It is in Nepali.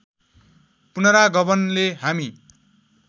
पुनरागमनले हामी